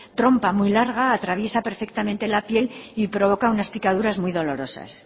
trompa muy larga atraviesa perfectamente la piel y provoca unas picaduras muy dolorosas